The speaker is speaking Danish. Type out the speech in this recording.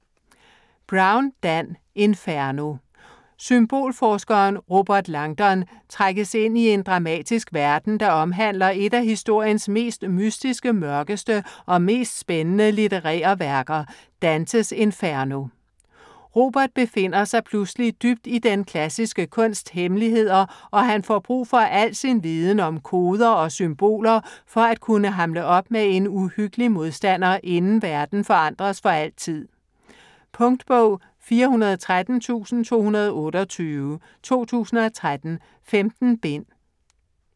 Brown, Dan: Inferno Symbolforskeren Robert Langdon trækkes ind i en dramatisk verden, der omhandler et af historiens mest mystiske, mørkeste og mest spændende litterære værker: Dantes Inferno. Robert befinder sig pludselig dybt i den klassiske kunst hemmeligheder og han får brug for al sin viden om koder og symboler, for at kunne hamle op med en uhyggelig modstander, inden verden forandres for altid. Punktbog 413228 2013. 15 bind.